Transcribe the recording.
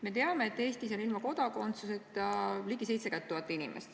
Me teame, et Eestis on ilma kodakondsuseta ligi 70 000 inimest.